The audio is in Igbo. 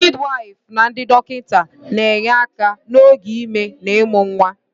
Ndị midiwyfụ na ndị dọkịta na-enye aka n'oge ime na ịmụ nwa.